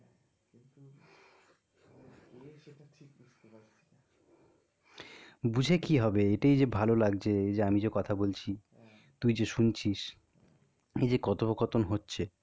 বুঝে কি হবে? এটাই যে ভালো লাগছে এই যে আমি যে কথা বলছি তুই যে শুনছিস এই যে কথোপকথন হচ্ছে.